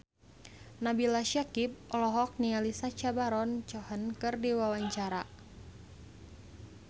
Nabila Syakieb olohok ningali Sacha Baron Cohen keur diwawancara